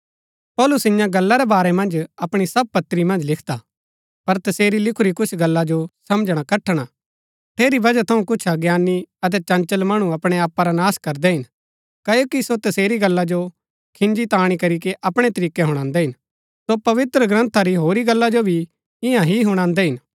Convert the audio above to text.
पौलुस इन्या गल्ला रै बारै मन्ज अपणी सब पत्री मन्ज लिखदा हा पर तसेरी लिखुरी कुछ गल्ला जो समझणा कठण हा ठेरी वजह थऊँ कुछ अज्ञानी अतै चंचल मणु अपणै आपा रा नाश करदै हिन क्ओकि सो तसेरी गल्ला जो खिन्जी ताणी करीके अपणै तरीकै हुणान्दै हिन सो पवित्रग्रन्था री होरी गल्ला जो भी इन्या ही हुणान्दै हिन